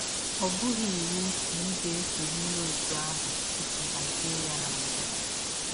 Ọ bụghị iwụ na ị ga - esọrịrị ọtụ ahụ i si hazie ya na mbụ.